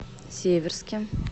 северске